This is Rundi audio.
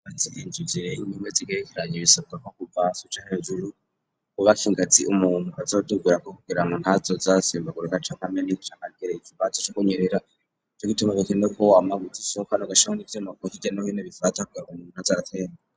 Inzu zirezire zimwe zigerekeranye bisabwa ko kuva hasi no hejuru kubaka ingazi umuntu azogenderako kugira ngo ntazoje arasimbaguruka canke nko kugira ikibazo co kunyerera co gituma bikunda ko washirako ivyuma hirya no hino bifata umuntu ntazaratemba